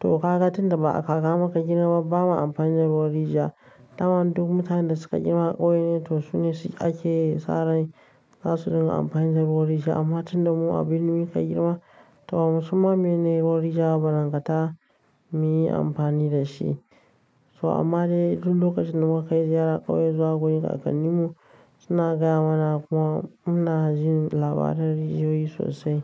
To kaka tunda ba'a kaka muka girmaba bama amfani da ruwan rijiya. Tamam duk mutanen da suka girma a ƙauye ne to su ne ake saran zasu dinga amfani da ruwan rijiya amma tunda mu abin nuja muka girma, to musamman mene ruwan rijiya ba nan gata mu yi amfani da shi. So amma dai duk lokacin da muka kai ziyara ƙauyen zagayen a kakannin mu suna gaya mana kuma muna jin labaran rijiyoyi sosai.